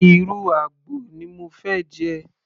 ìrù àgbò ni mo fẹ́ jẹ